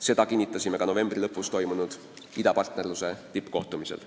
Seda kinnitasime ka novembri lõpus toimunud idapartnerluse tippkohtumisel.